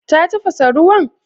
Ta tafasa ruwan?